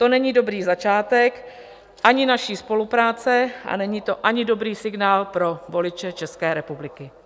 To není dobrý začátek ani naší spolupráce, a není to ani dobrý signál pro voliče České republiky.